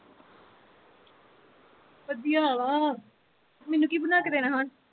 ਵਧੀਆ ਵਾਂ ਮੈਨੂੰ ਕੀ ਬਣਾ ਕੇ ਦੇਣਾ ਹੁਣ